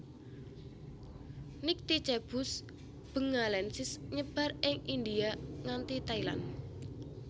Nycticebus bengalensis nyebar ing India nganti Thailand